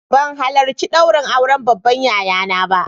Ban halarci ɗaurin auren yayana ba